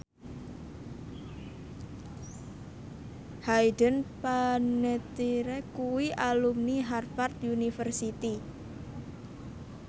Hayden Panettiere kuwi alumni Harvard university